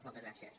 moltes gràcies